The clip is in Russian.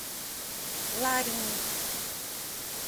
ларине